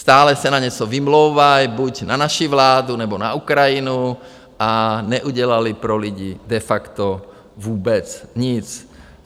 Stále se na něco vymlouvají, buď na naši vládu, nebo na Ukrajinu, a neudělali pro lidi de facto vůbec nic.